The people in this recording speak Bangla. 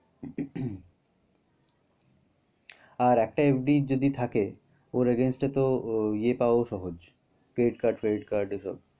আর একটা FD যদি থাকে ওর against এ তো ইয়ে পাওয়াও সহজ। credit card ফ্রেডি card এসব।